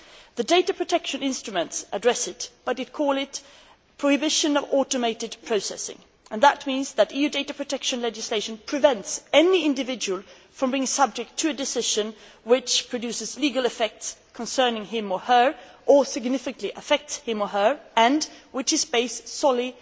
The data protection instruments address it, but call it Prohibition of Automated Processing' that means that EU data protection legislation prevents any individual from being subject to a decision which produces legal effects concerning him or her, or significantly affects him or her, and which is based solely